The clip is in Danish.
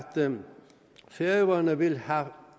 færøerne vil have